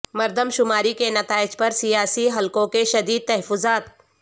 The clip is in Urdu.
مردم شماری کے نتائج پر سیاسی حلقوں کے شدید تحفظات